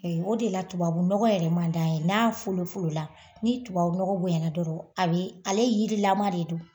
O de la tubabunɔgɔ yɛrɛ man d'an ye. N'a folo folo la ni tubabunɔgɔ bonyana dɔrɔn a bɛ, ale yirilama de don